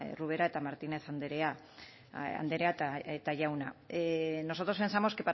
ubera eta martínez andrea eta jauna nosotros pensamos